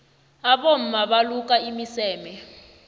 abomma baluka imiseme